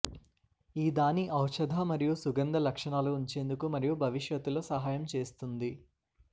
ఈ దాని ఔషధ మరియు సుగంధ లక్షణాలు ఉంచేందుకు మరియు భవిష్యత్తులో సహాయం చేస్తుంది